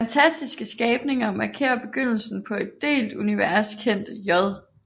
Fantastiske skabninger markerer begyndelsen på et delt univers kendt J